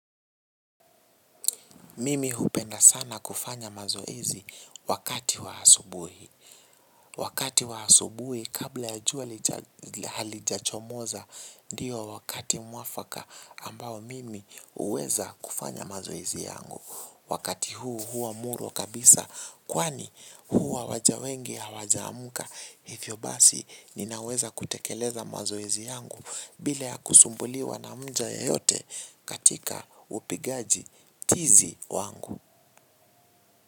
Mimi hupenda sana kufanya mazoezi wakati wa asubuhi. Wakati wa asubuhi kabla ya kuwa halijachomoza ndiyo wakati muafaka ambao mimi huweza kufanya mazoezi yangu. Wakati huu huwa muruwa kabisa kwani huwa waja wengi hawajaamka. Hivyo basi ninaweza kutekeleza mazoezi yangu bila ya kusumbuliwa na mja yeyote katika upigaji tizi wangu.